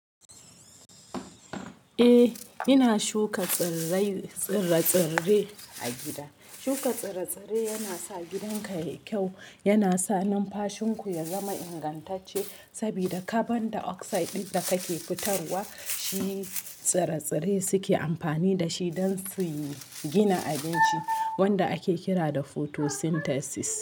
Eh ina shuka tsirrai tsire-tsire a gida. Shuka tsire-tsire yana sa gidanka yayi kyau, yana sa numfashinku ya zama ingantacce saboda carbon dioxide ɗin da kake fitarwa, shi tsire-tsire suke amfani da shi don suyi gina abinci wanda ake kira da photosynthesis.